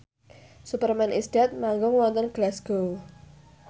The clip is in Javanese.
Superman is Dead manggung wonten Glasgow